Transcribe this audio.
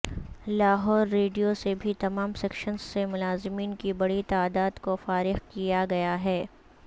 Lahore radio سے بھی تمام سیکشنز سے ملازمین کی بڑی تعداد کو فارغ کیا گیا ہے